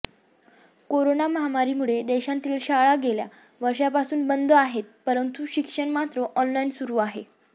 corona महामारी मुळे देशातील शाळा गेल्या वर्षापासून बंदच आहेत परंतु शिक्षण मात्र ऑनलाईन सुरू आहे